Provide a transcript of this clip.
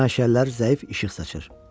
Məşəllər zəif işıq saçır.